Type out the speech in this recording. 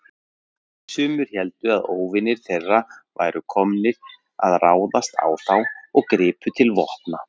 Sumir héldu að óvinir þeirra væru komnir að ráðast á þá og gripu til vopna.